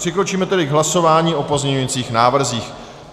Přikročíme tedy k hlasování o pozměňujících návrzích.